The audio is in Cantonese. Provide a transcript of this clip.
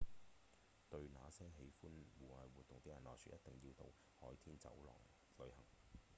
對那些喜歡戶外活動的人來說一定要到海天走廊旅行